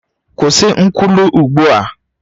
Kwụsị nkwulu ugbu a!